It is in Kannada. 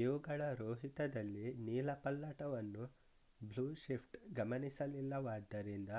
ಇವುಗಳ ರೋಹಿತದಲ್ಲಿ ನೀಲಪಲ್ಲಟವನ್ನು ಬ್ಲೂಶಿಫ್ಟ್ ಗಮನಿಸಲಿಲ್ಲವಾದ್ದರಿಂದ